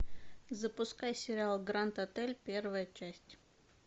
запускай сериал гранд отель первая часть